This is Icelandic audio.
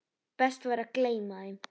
Best væri að gleyma þeim.